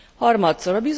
Harmadszor.